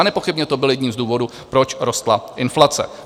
A nepochybně to byl jeden z důvodů, proč rostla inflace.